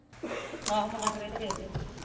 ਆਹੋ ਮੁੰਡਾ ਫੜੇ ਤੇ ਫੇਰ